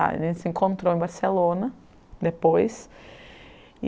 A gente se encontrou em Barcelona, depois.